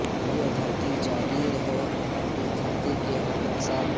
یہ دھرتی جاگیر ہے اس دھرتی کے ہر انسان کی